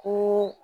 Ko